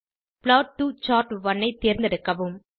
plot டோ chart one ஐ தேரந்தெடுக்கவும்